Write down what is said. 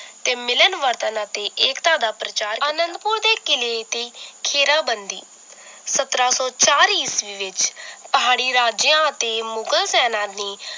ਤੇ ਮਿਲਣ ਵਰਤਣ ਅਤੇ ਏਕਤਾ ਦਾ ਪ੍ਰਚਾਰ ਅਨੰਦਪੁਰ ਦੇ ਕਿਲੇ ਦੀ ਖੇਰਾ ਬੰਦੀ ਸੱਤਰਾਂ ਸੌ ਚਾਰ ਈਸਵੀ ਵਿਚ ਪਹਾੜੀ ਰਾਜਿਆਂ ਅਤੇ ਮੁਗ਼ਲ ਸੈਨਾ ਨੇ